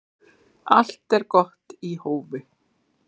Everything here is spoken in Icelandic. Allt er gott í hófi